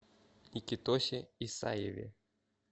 никитосе исаеве